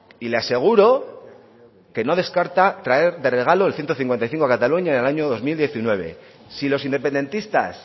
y le aseguro que no descarta traer de regalo el ciento cincuenta y cinco a cataluña el año dos mil diecinueve si los independentistas